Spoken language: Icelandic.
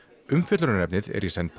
umfjöllunarefnið er í senn